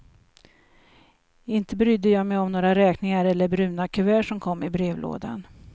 Inte brydde jag mig om några räkningar eller bruna kuvert som kom i brevlådan.